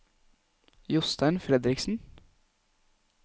Jostein Fredriksen